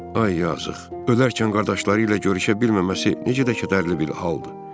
Ay yazıq, öləndən qabaq qardaşları ilə görüşə bilməməsi necə də kədərlidir.